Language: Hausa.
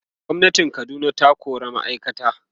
gwamnatin Kaduna ta kora ma'aikata